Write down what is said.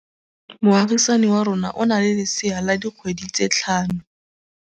Moagisane wa rona o na le lesea la dikgwedi tse tlhano.